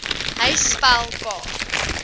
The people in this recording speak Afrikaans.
hy spel k